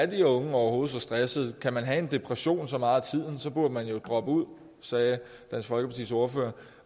de unge overhovedet så stressede kan man have en depression så meget af tiden burde man jo droppe ud sagde dansk folkepartis ordfører